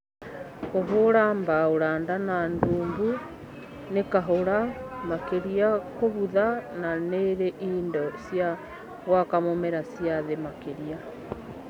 Kũhũra ra mbaũ randa na ndumbü nĩ kahũra makĩria kũbutha na nĩĩrĩ indo cia gwaka mũmera cia thĩ makĩria